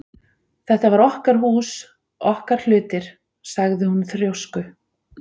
Þetta var okkar hús, okkar hlutir- sagði hún þrjósku